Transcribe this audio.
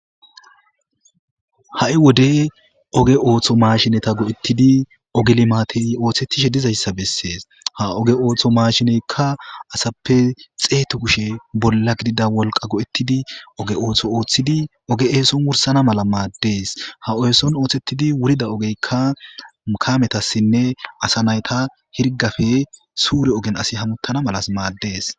Ha7i wode oge ooso mashinetha go7eththidi oge limaathey ooseththishe dizayssa bessees; ha oge ootho maashineykka asappe xeethu kushe bolla gidida wolqa go7eththidi oge ootho ooththidi oge eeson wursana mala maaddees; ha eeson ooseththidi wurida ogeykka kamethassinne asa naytha hirgafe suure ogen asi hamuththana malas maaddees.